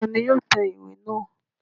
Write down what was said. Ta ni yóò tẹ ìwé náà?